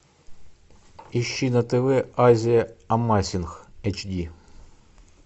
ищи на тв азия амазинг эйч ди